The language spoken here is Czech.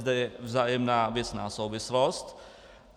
Zde je vzájemná věcná souvislost.